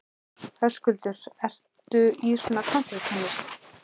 Höskuldur: Ertu í svona kántrítónlist?